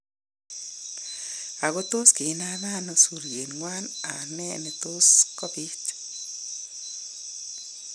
Ako tos kinameen ano suryeenywan ak nee netos kobiit